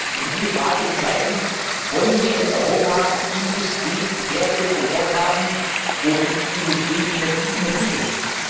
Wir müssen die Frage entscheiden Wollen wir in Europa Industriewertschöpfung dort haben, wo die Industrie energieintensiv ist?